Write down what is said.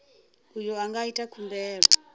uyo a nga ita khumbelo